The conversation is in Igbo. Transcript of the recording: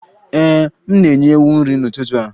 Ee, m na-enye ewu nri n'ụtụtụ a